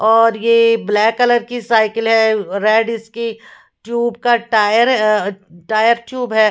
और ये a black colour की साइकिल है ए रेड इसकी ट्यूब का tyre uh uh tyre tube है।